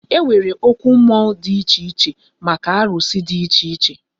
E nwere okwu mmụọ dị iche iche maka arụsị dị iche iche